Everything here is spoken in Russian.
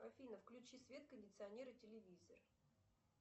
афина включи свет кондиционер и телевизор